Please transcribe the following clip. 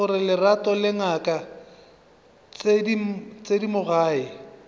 gore lerato le ngaka thedimogane